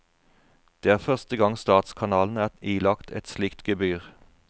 Det er første gang statskanalen er ilagt et slikt gebyr.